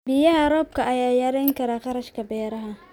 Biyaha roobka ayaa yarayn kara kharashka beeraha.